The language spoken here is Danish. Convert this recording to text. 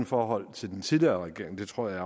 forhold til den tidligere regering det tror jeg